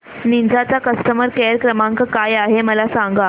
Ninja चा customer care क्रमांक काय आहे मला सांगा